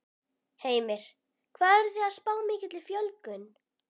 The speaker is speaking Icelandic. Heimir: Hvað eruð þið að spá mikilli fjölgun?